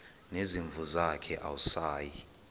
nezimvu zakhe awusayi